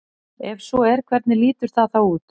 Ef svo er hvernig lítur það þá út?